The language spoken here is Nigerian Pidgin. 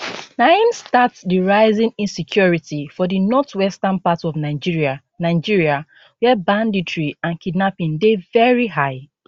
na im start di rising insecurity for di northwestern part of nigeria nigeria wia banditry and kidnapping dey veri high